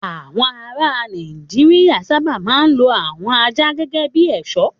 Àwọn ará Nàìjíríà sábà máa ń lo àwọn ajá gẹ́gẹ́ bí ẹ̀ṣọ́.